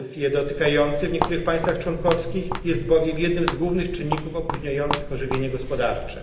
Dotykających ich w niektórych państwach członkowskich brak kredytów jest bowiem jednym z głównych czynników opóźniających ożywienie gospodarcze.